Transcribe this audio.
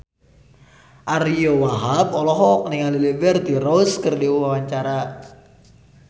Ariyo Wahab olohok ningali Liberty Ross keur diwawancara